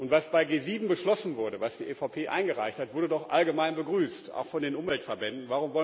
Was bei G7 beschlossen wurde, was die EVP eingereicht hat, wurde doch allgemein begrüßt, auch von den Umweltverbänden.